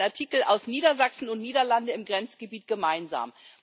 Das ist ein Artikel aus Niedersachsen und den Niederlanden im Grenzgebiet gemeinsam.